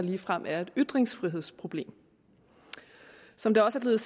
ligefrem er et ytringsfrihedsproblem som det også er